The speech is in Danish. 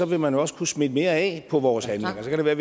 vil man også kunne smitte mere af på vores handlinger så kan det være